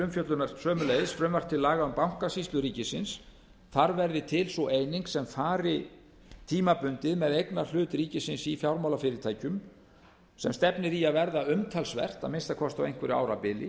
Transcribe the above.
umfjöllunar sömuleiðis frumvarp til laga um bankasýslu ríkinu þar verður til sú eining sem fari tímabundið með eignarhlut ríkisins í fjármálafyrirtækjum sem stefnir í að verða umtalsvert að minnsta kosti á einhverju árabili